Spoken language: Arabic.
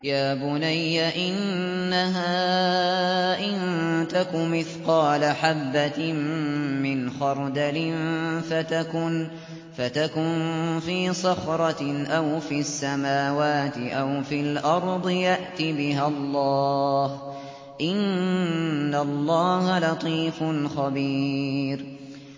يَا بُنَيَّ إِنَّهَا إِن تَكُ مِثْقَالَ حَبَّةٍ مِّنْ خَرْدَلٍ فَتَكُن فِي صَخْرَةٍ أَوْ فِي السَّمَاوَاتِ أَوْ فِي الْأَرْضِ يَأْتِ بِهَا اللَّهُ ۚ إِنَّ اللَّهَ لَطِيفٌ خَبِيرٌ